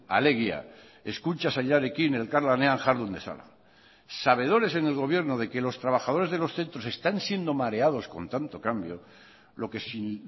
alegia hezkuntza sailarekin elkarlanean jardun dezala sabedores en el gobierno de que los trabajadores de los centros están siendo mareados con tanto cambio lo que sin